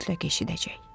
Mütləq eşidəcək.